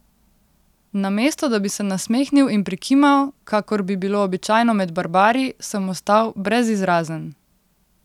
Namesto da bi se nasmehnil in prikimal, kakor bi bilo običajno med barbari, sem ostal brezizrazen.